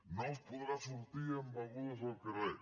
no es podrà sortir amb begudes al carrer